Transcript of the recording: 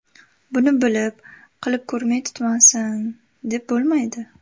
Buni bilib, qilib ko‘rmay tutmasin, deb bo‘lmaydi.